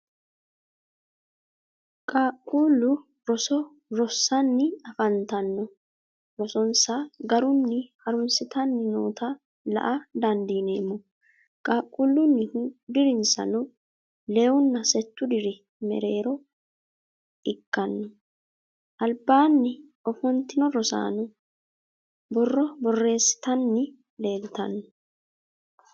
Qaaqquullu roso rossanni afantanno. Rosonsa garunni harunsitanni noota la'a dandiineemmo. Qaaqquullunnihu dirinsano lewunna settu diri mereero ikkanno. Albaanni ofontino rosaano borro borreessitanni leeltanno.